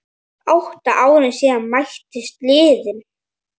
Vatninu var síðan hellt frá.